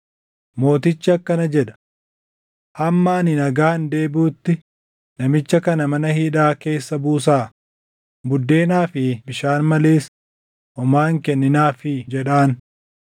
‘Mootichi akkana jedha: Hamma ani nagaan deebiʼutti namicha kana mana hidhaa keessa buusaa; buddeenaa fi bishaan malees homaa hin kenninaafii’ jedhaan.”